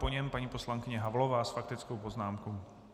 Po něm paní poslankyně Havlová s faktickou poznámkou.